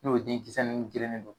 N'o ye den kisɛnin jɛlen de don